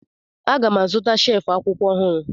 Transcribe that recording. Aga m azụta shelf akwụkwọ ọhụrụ